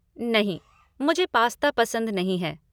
नहीं, मुझे पास्ता पसंद नहीं है।